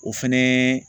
O fɛnɛ